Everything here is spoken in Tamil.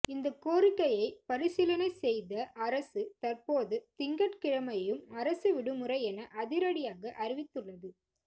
இந்த கோரிக்கையை பரிசீலனை செய்த அரசு தற்போது திங்கட்கிழமையும் அரசு விடுமுறை என அதிரடியாக அறிவித்துள்ளது